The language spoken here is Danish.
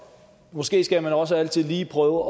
måske skal man også altid lige prøve